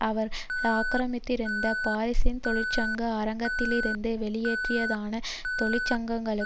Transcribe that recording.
அவர்கள் ஆக்கிரமித்திருந்த பாரிஸின் தொழிற்சங்க அரங்கத்திலிருந்து வெளியேற்றியதானது தொழிற்சங்கங்களும்